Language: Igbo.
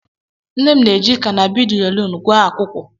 Nne m na-eji canabidyolum gwọọ akwụkwụ.